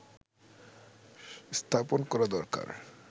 স্থাপন করা দরকার